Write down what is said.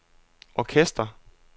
orkester